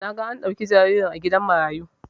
Naga an dauki jaririn a gidan marayu